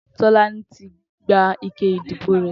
Tolani ti gbá ìké idibó rè